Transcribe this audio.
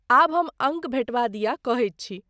आब हम अङ्क भेटबा दिया कहैत छी।